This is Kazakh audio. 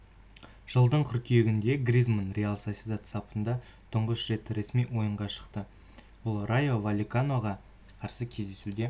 жылдың қыркүйегінде гризманн реал сосьедад сапында тұңғыш рет ресми ойынға шықты ол райо вальеканоға қарсы кездесуде